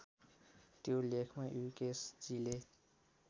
त्यो लेखमा युकेशजीले